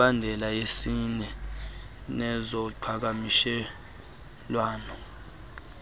imibandela yesini nezoqhakamshelwano